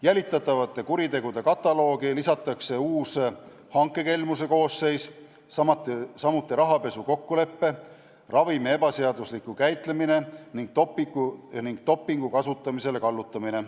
Jälitatavate kuritegude kataloogi lisatakse uus, hankekelmuse koosseis, samuti rahapesu kokkulepe, ravimi ebaseaduslik käitlemine ning dopingu kasutamisele kallutamine.